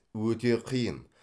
өте қиын